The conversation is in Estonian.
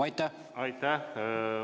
Aitäh!